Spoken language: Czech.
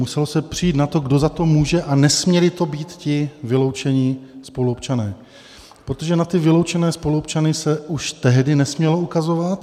Muselo se přijít na to, kdo za to může, a nesměli to být ti vyloučení spoluobčané, protože na ty vyloučené spoluobčany se už tehdy nesmělo ukazovat.